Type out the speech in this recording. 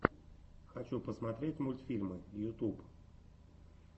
хочу посмотреть мультфильмы ютуб